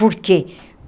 Por quê?